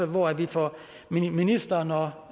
hvor vi får ministeren og